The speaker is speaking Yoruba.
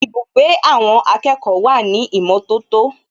Ibùgbé àwọn akẹ́kọ̀ọ́ wà ní ìmọ̀tótó